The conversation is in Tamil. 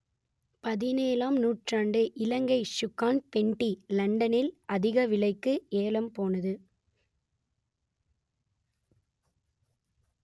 பதினேழாம் நூற்றாண்டு இலங்கை சுங்கான் பென்ட்டி லண்டனில் அதிக விலைக்கு ஏலம் போனது